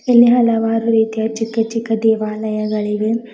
ಇಲ್ಲಿ ಹಲವಾರು ರೀತಿಯ ಚಿಕ್ಕ ಚಿಕ್ಕ ದೇವಾಲಯಗಳಿವೆ.